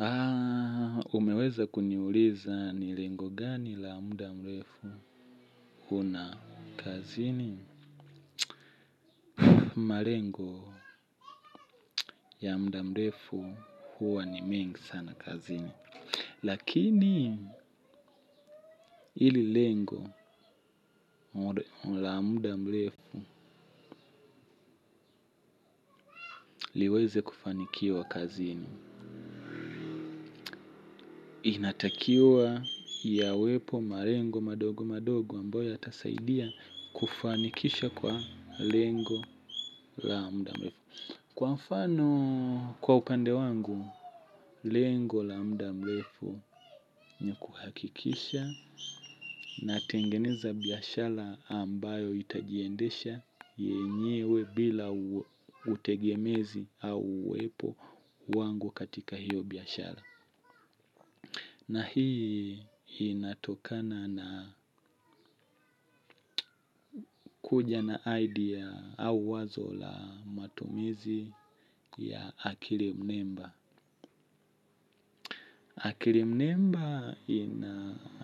Aaaa, umeweza kuniuliza ni lengo gani la muda mrefu huna kazini. Malengo ya muda mrefu huwa ni mingi sana kazini. Lakini, ili lengo la muda mrefu liweze kufanikiwa kazini. Inatakiwa yawepo malengo madogo madogo ambayo yatasaidia kufanikisha kwa lengo la muda mrefu. Kwafano kwa upande wangu, lengo la mda mrefu ni kuhakikisha natengeneza biashara ambayo itajiendesha yenyewe bila utegemezi au uwepo wangu katika hiyo biashara. Na hii inatokana na kuja na idea au wazo la matumizi ya akili mnemba. Akili mnemba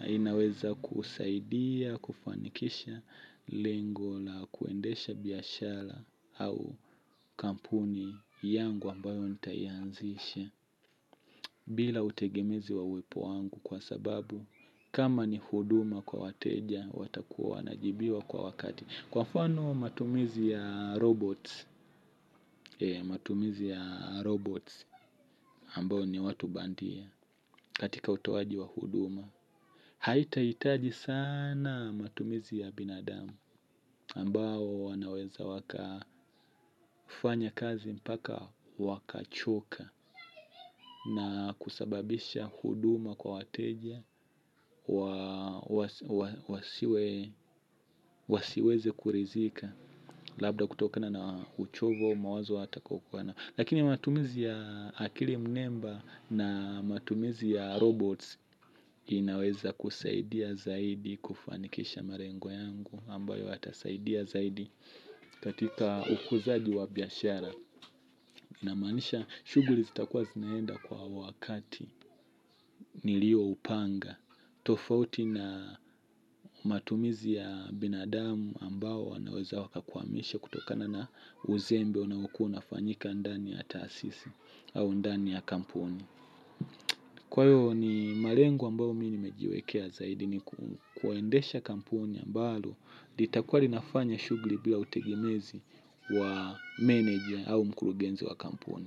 inaweza kusaidia kufanikisha lengo la kuendesha biashara au kampuni yangu ambayo nitayanzisha bila utegemezi wa uwepo wangu kwa sababu kama ni huduma kwa wateja watakuwa wana jibiwa kwa wakati. Kwafano matumizi ya robots ambao ni watu bandia katika utowaji wa huduma. Haitaitaji sana matumizi ya binadamu ambao wanaweza waka fanya kazi mpaka wakachoka na kusababisha huduma kwa wateja wasiweze kuridhika. Labda kutokana na uchovu au mawazo hata kukwana. Lakini matumizi ya akili mnemba na matumizi ya robots inaweza kusaidia zaidi kufanikisha malengo yangu ambayo yatasaidia zaidi katika ukuzaji wa biashara. Na maanisha shughuli zitakua zinaenda kwa wakati nilio upanga. Tofauti na matumizi ya binadamu ambao naweza waka kukwamisha kutokana na uzembe unaokua unafanyika ndani ya taasisi au ndani ya kampuni. Kwa hiyo ni malengo ambayo mi nimejiwekea zaidi ni kuwaendesha kampuni ambalo lita kua linafanya shughuli bila utegemezi wa meneja au mkurugenzi wa kampuni.